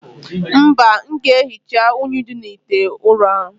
Mba, m ga-ehicha unyi dị n' ite ụrọ ahụ.